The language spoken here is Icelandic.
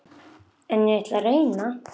En ég ætla að reyna.